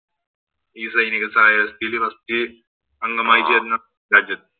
ഈ സൈനിക സഹായ വ്യവസ്ഥയില് first അംഗമായി ചേര്‍ന്ന രാജ്യം.